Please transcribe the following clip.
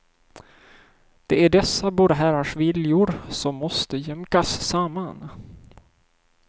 Det är dessa båda herrars viljor som måste jämkas samman.